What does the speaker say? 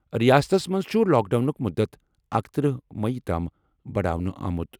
رِیاستَس منٛز چھُ لاک ڈاوُنُک مُدت اکتٔرہ مئی تام بَڑاونہٕ آمُت۔